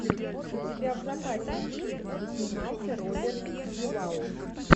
у тебя в запасе есть где снимался роберт дювал